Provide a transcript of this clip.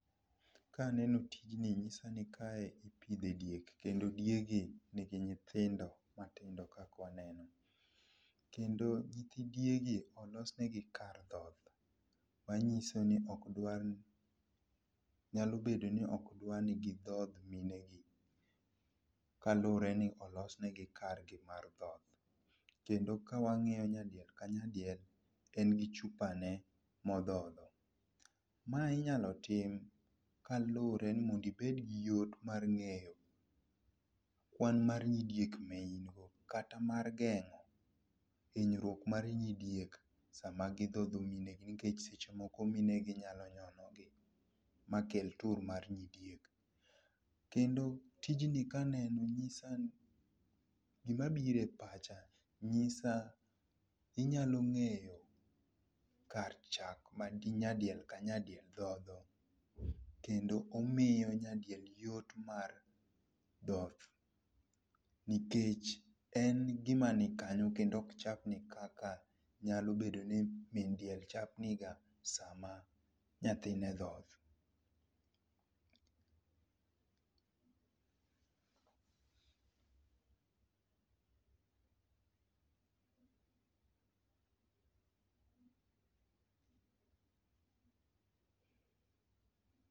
Kaneno tijni nyisa ni kae ipidhe diek kendo diegi ni gi nyithindo matindo kaka waneno, kendo nyithi diegi olosne gi kar thoth ,manyiso ni ok dwar ni gidhoth minegi kaluwore ni olosne gi kargi mar dhoth, kendo ka wangiyo nyadiel ka nyadiel en gi chupane modhodho, mae inyalo tim kaluwore ni mondo ibed go yot mar ng'eyo kwan mar nyidiek ma in go kata mar gengo hinyruok mar nyidiek sma gidhodho mine gi nikech seche moko mine gi nyalo nyono gi mikel tur mar nyidiek, kendo tijni kaneno nyisani, gima biro e pacha nyisa inyalo ng'eyo kar chak man gi nyadiel ka nyadiel dhodho kendo omiyo nyadiel ka nyadiel yot nikech en gima ni kanyo kendo ok chapni kaka nyalo bedo ni min diel chapni ga sama nyathine dhoth.